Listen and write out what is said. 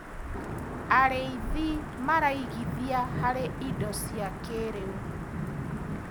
Arĩithi maraigithia harĩ indo cia kĩrĩu.